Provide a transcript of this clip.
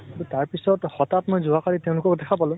তাৰ পিছত হথাৎ মই যোৱা কালি তেওঁ লোকক দেখা পালো।